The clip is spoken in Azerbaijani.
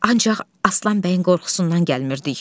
Ancaq Aslan bəyin qorxusundan gəlmirdik.